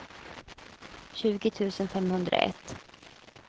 tjugo tusen femhundraett